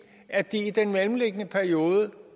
at de i den mellemliggende periode